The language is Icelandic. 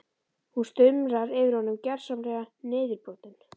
Hún stumrar yfir honum, gersamlega niðurbrotin.